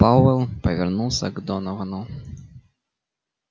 пауэлл повернулся к доновану